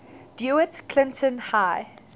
dewitt clinton high